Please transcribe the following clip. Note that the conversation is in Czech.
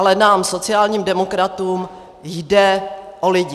Ale nám sociálním demokratům jde o lidi.